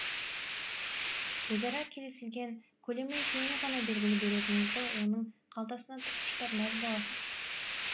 өзара келісілген көлемі екеуіңе ғана белгілі беретініңізді оның қалтасына тықпыштап мәз боласыз